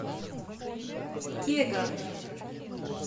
кега